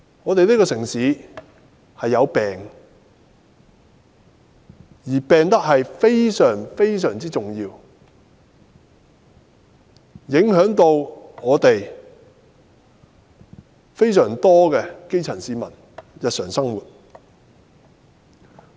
香港這城市已患病，而且病得非常、非常嚴重，影響到非常多基層市民的日常生活。